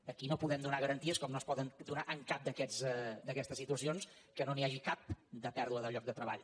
aquí no podem donar garanties com no es poden donar en cap d’aquestes situacions que no n’hi hagi cap de pèrdua de lloc de treball